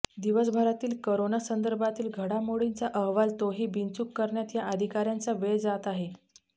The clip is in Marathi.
दिवसभरातील करोना संदर्भातील घडामोडींचा अहवाल तोही बिनचूक करण्यात या अधिकाऱ्यांचा वेळ जात आहे